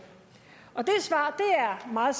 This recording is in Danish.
det svar er meget